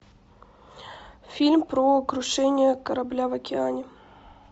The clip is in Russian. фильм про крушение корабля в океане